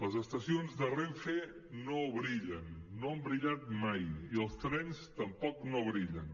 les estacions de renfe no brillen no han brillat mai i els trens tampoc no brillen